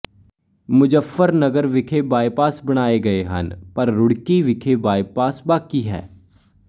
ਮੁਜ਼ੱਫਰਨਗਰ ਵਿਖੇ ਬਾਈਪਾਸ ਬਣਾਏ ਗਏ ਹਨ ਪਰ ਰੁੜਕੀ ਵਿਖੇ ਬਾਈਪਾਸ ਬਾਕੀ ਹੈ